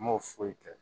N m'o foyi kɛ